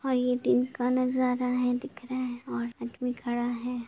और ये दिन का नज़ारा है दिख रहा है में खड़ा है।